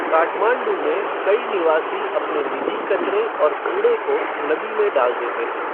काठमांडू में कई निवासी अपने निजी कचरे और कूड़े को नदी में डाल देते हैं।